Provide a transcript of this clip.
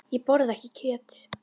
Ég borða ekki kjöt.